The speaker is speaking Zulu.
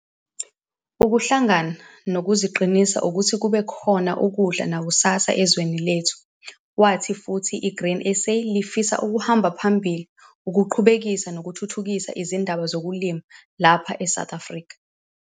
"Ukuhlangana kuzoqinisa ukuthi kube khona ukudla nakusasa ezweni lethu", wathi futhi iGrain SA lifisa ukuhamba phambili ukuqhubekisa nokuthuthukisa izindaba zokulima lapha eSouth Africa.